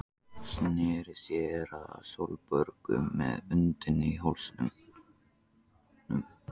Sneri sér að Sólborgu með öndina í hálsinum.